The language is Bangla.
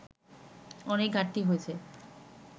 অনেক ঘাটতি রয়েছে